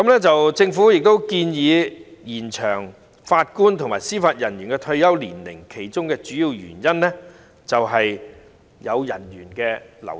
政府建議延長法官和司法人員的退休年齡，其中主要原因是人員流失。